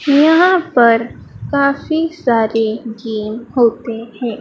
यहां पर काफी सारे गेम होते हैं।